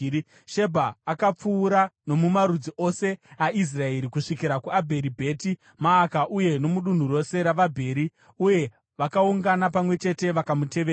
Shebha akapfuura nomumarudzi ose aIsraeri kusvikira kuAbheri Bheti Maaka uye nomudunhu rose ravaBheri, uye vakaungana pamwe chete vakamutevera.